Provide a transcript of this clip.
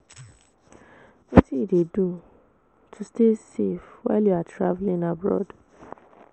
Wetin you dey do to stay safe while you are traveling abroad?